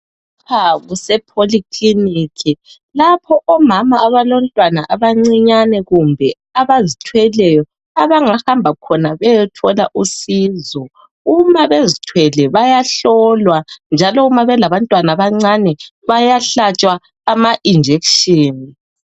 Lapha kusePolyclinic lapho omama abalomntwana abancinyane kumbe abazithweleyo abangahamba khona beyothola usizo. Uma bezithwele bayahlolwa njalo uma belabantwana abancane bayahlatshwa ama injection.